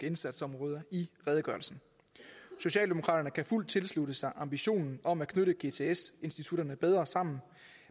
indsatsområder i redegørelsen socialdemokraterne kan fuldt tilslutte sig ambitionen om at knytte gts institutterne bedre sammen